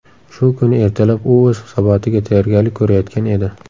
Shu kuni ertalab u o‘z hisobotiga tayyorgarlik ko‘rayotgan edi.